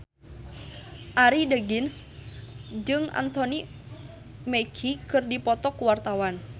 Arie Daginks jeung Anthony Mackie keur dipoto ku wartawan